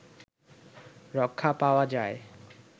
রক্ষা পাওয়া যায়